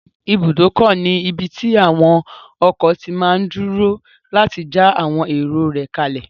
Ibùdókọ̀ ní ibí tí àwon ọkọ̀ máa tí n dúró láti já àwọn èrò rẹ̀ kálẹ̀